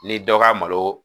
Ni dɔ ka malo